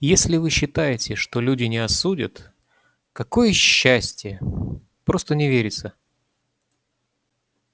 если вы считаете что люди не осудят какое счастье просто не верится